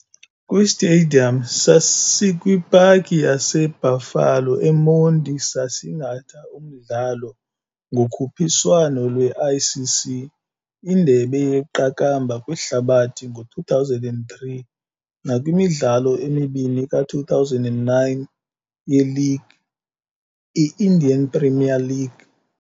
KwiStadium saseesikwipaki yase-Buffalo eMonti saasingatha umdlalo ngokhuphiswano lweICC indebe yeQakambha kwihlabathi ngo-2003 nakwimidlalo emibini ka2009 ye-League i-Indian Premier League.